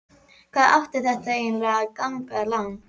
Hvað átti þetta eiginlega að ganga langt?